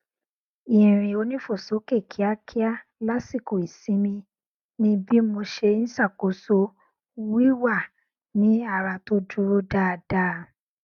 irin onífòsókè kíákíá lásìkò ìsinmi ni bí mo ṣe n ṣàkóso wíwà ní ara tó dúró dáadáa